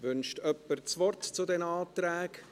Wünscht jemand das Wort zu diesen Anträgen?